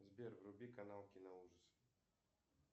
сбер вруби канал киноужасы